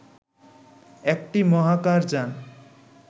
একটি মহাকাশ যান